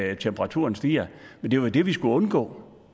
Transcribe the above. at temperaturen stiger men det var jo det vi skulle undgå og